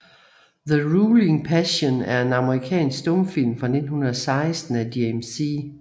The Ruling Passion er en amerikansk stumfilm fra 1916 af James C